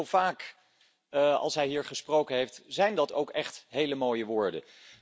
Zo vaak als hij hier gesproken heeft, zijn dat ook echt hele mooie woorden.